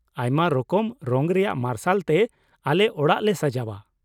ᱟᱭᱢᱟ ᱨᱚᱠᱚᱢ ᱨᱚᱝ ᱨᱮᱭᱟᱜ ᱢᱟᱨᱥᱟᱞ ᱛᱮ ᱟᱞᱮ ᱚᱲᱟᱜ ᱞᱮ ᱥᱟᱡᱟᱣᱼᱟ ᱾